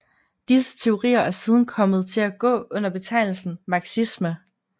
Disse teorier er siden kommet til at gå under betegnelsen marxisme